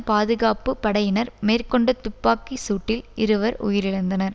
பாதுகாப்பு படையினர் மேற்கொண்ட துப்பாக்கி சூட்டில் இருவர் உயிரிழந்தனர்